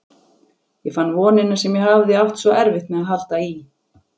Ég fann vonina sem ég hafði átt svo erfitt með að halda í.